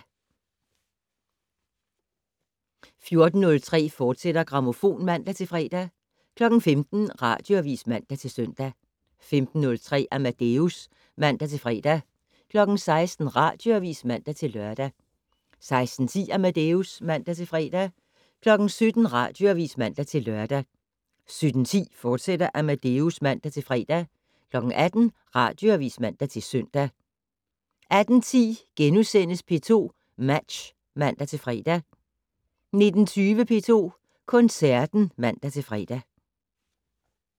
14:03: Grammofon, fortsat (man-fre) 15:00: Radioavis (man-søn) 15:03: Amadeus (man-fre) 16:00: Radioavis (man-lør) 16:10: Amadeus (man-fre) 17:00: Radioavis (man-lør) 17:10: Amadeus, fortsat (man-fre) 18:00: Radioavis (man-søn) 18:10: P2 Match *(man-fre) 19:20: P2 Koncerten (man-fre)